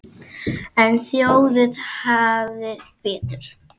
En þjóðin hafði betur.